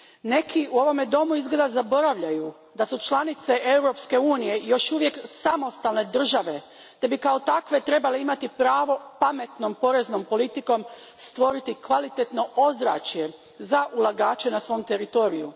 Neki u ovome domu izgleda zaboravljaju da su članice Europske unije još uvijek samostalne države te bi kao takve trebale imati pravo pametnom poreznom politikom stvoriti kvalitetno ozračje za ulagače na svom teritoriju.